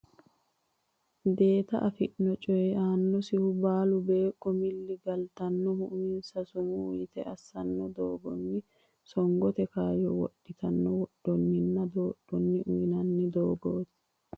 Deete affino coy annosihu baalu beeqqo miilla galtannohu uminsa sumuu yite assanno doogonni songote kayyo wodhitino wodhonninna doodhitino uynanni doogooti.